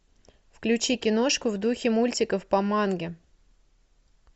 включи киношку в духе мультиков по манге